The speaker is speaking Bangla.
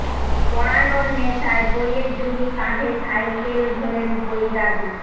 পড়ানোর নেশায় বইয়ের ঝুলি কাঁধে সাইকেল ঘোরেন বই দাদু